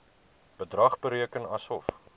bedrag bereken asof